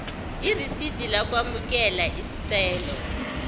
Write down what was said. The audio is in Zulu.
irisidi lokwamukela isicelo